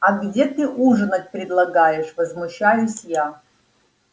а где ты ужинать предлагаешь возмущаюсь я